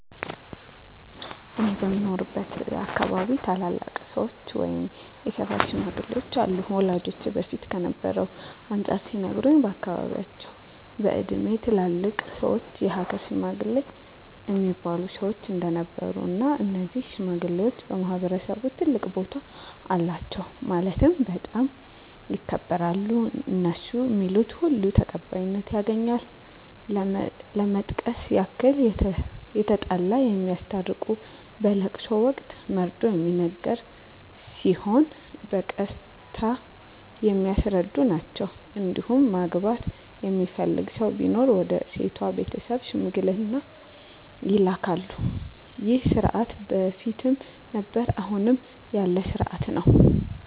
እኔ በምኖርበት አካባቢ ታላላቅ ሰዎች ወይም የሰፈር ሽማግሌዎች አሉ ወላጆቼ በፊት ከነበረው አንፃር ሲነግሩኝ በአካባቢያቸው በእድሜ ትላልቅ ሰዎች የሀገር ሽማግሌ እሚባሉ ሰዎች እንደነበሩ እና እነዚህ ሽማግሌዎች በማህበረሰቡ ትልቅ ቦታ አላቸው ማለትም በጣም ይከበራሉ እነሡ ሚሉት ሁሉ ተቀባይነት ያገኛል ለመጥቀስ ያክል የተጣላ የሚያስታርቁ በለቅሶ ወቅት መርዶ ሚነገር ሲሆን በቀስታ የሚያስረዱ ናቸዉ እንዲሁም ማግባት የሚፈልግ ሰው ሲኖር ወደ ሴቷ ቤተሰብ ሽምግልና ይላካሉ ይህ ስርዓት በፊትም ነበረ አሁንም ያለ ስርአት ነው።